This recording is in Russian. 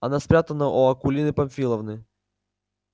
она спрятана у акулины памфиловны